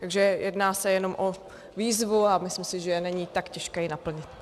Takže jedná se jenom o výzvu a myslím si, že není tak těžké ji naplnit.